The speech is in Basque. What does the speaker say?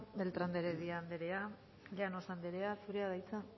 beltrán de heredia anderea llanos anderea zurea da hitza